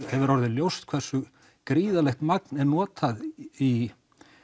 hefur orðið ljóst hversu gríðarlegt magn er notað í